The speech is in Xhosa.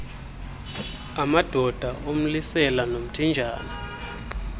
amadoda umlisela nomthinjana